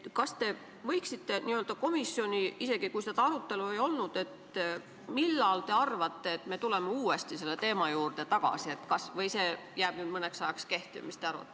Isegi kui seda arutelu komisjonis ei olnud, mis te arvate, kas me tuleme varsti uuesti selle teema juurde tagasi või jäävad need määrad nüüd mõneks ajaks kehtima?